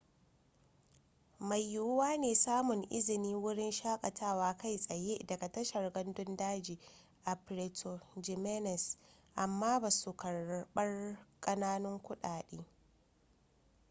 mai yiwuwa ne samun izinin wurin shakatawa kai tsaye daga tashar gandun daji a puerto jiménez amma ba su karbar katunan kuɗi